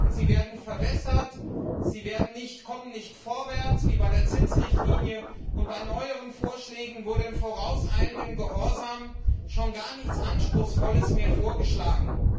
Sie werden verwässert, man kommt nicht vorwärts, wie bei der Zinsrichtlinie, und bei neueren Vorschlägen wurde in vorauseilendem Gehorsam schon gar nichts Anspruchsvolles mehr vorgeschlagen.